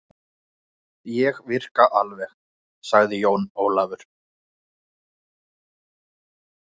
Arnþrúður en nú er sem sagt raðað svona: Arna